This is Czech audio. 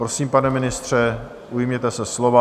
Prosím, pane ministře, ujměte se slova.